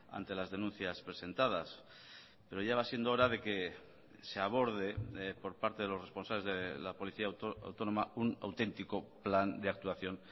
ante las denuncias presentadas pero ya va siendo hora de que se aborde por parte de los responsables de la policía autónoma un auténtico plan de actuación